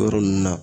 O yɔrɔ ninnu na